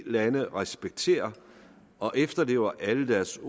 lande respekterer og efterlever alle deres